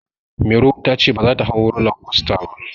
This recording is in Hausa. Mairo ta ce baza ta hau roller coaster ba.